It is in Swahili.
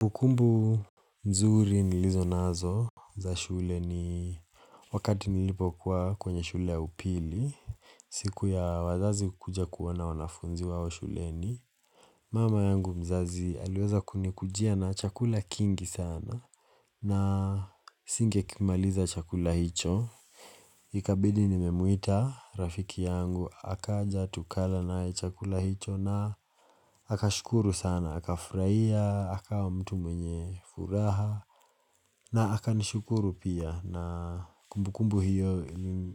Kumbukumbu mzuri nilizo nazo za shule ni wakati nilipo kwa kwenye shule ya upili. Siku ya wazazi kuja kuwana wanafunzi wao shule ni mama yangu mzazi aliweza kunikujia na chakula kingi sana na singe kimaliza chakula hicho. Ikabidi nimemuita rafiki yangu Akaja tukala na chakula hicho na akashukuru sana Akafuraiya, akawa mtu mwenye furaha na akanishukuru pia na kumbukumbu hiyo